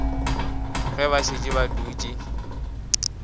ge ba šetše ba dutše